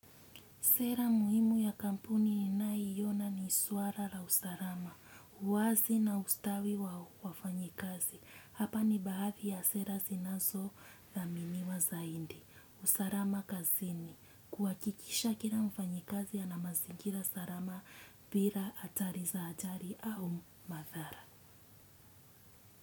Sera muhimu ya kampuni inayiona ni suara la usarama, uwazi na ustawi wa wafanyikazi. Hapa ni bahati ya sera sinazo dhaminiwa zaindi. Usarama kazini. Kuwakikisha kila mfanyikazi ana mazingira sarama bila atari za atari au madhara.